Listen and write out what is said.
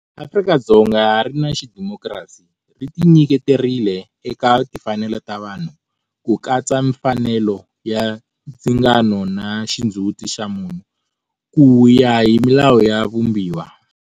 Afrika-Dzonga ri na xidimokirasi, ri tinyiketerile eka timfanelo ta vanhu, ku katsa mfanelo ya ndzingano na xindzhuti xa munhu, ku ya hi milawu ya Vumbiwa.